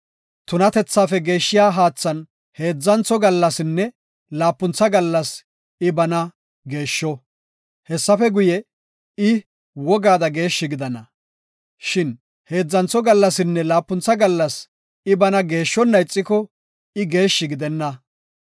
Tunatethaafe geeshshiya haathan heedzantho gallasinne laapuntha gallas I bana geeshsho; hessafe guye, I wogaada geeshshi gidana. Shin heedzantho gallasinne laapuntha gallas I bana geeshshona ixiko I geeshshi gidenna.